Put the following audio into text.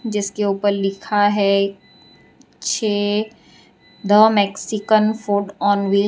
जिसके ऊपर लिखा है छे the Mexican food on wheels.